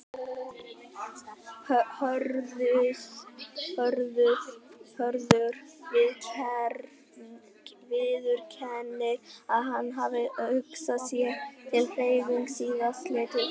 Hörður viðurkennir að hann hafi hugsað sér til hreyfings síðastliðið haust.